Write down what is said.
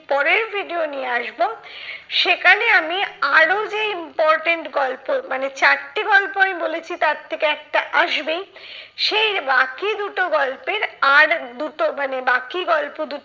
পরের video নিয়ে আসবো সেখানে আমি আরো যে important গল্প মানে চারটে গল্প আমি বলছি তার থেকে একটা আসবেই। সেই বাকি দুটো গল্পের আর দুটো মানে বাকি গল্প দুটো